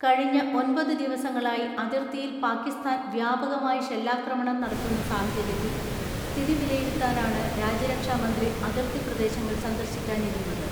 കഴിഞ്ഞ ഒൻപതു ദിവസങ്ങളായി അതിർത്തിയിൽ പാകിസ്ഥാൻ വ്യാപകമായി ഷെല്ലാക്രമണം നടത്തുന്ന സാഹചര്യത്തിൽ സ്ഥിതി വില യിരുത്താനാണ് രാജ്യരക്ഷാമന്ത്രി അതിർത്തിപ്രദേശങ്ങൾ സന്ദർശിക്കാനിരുന്നത്.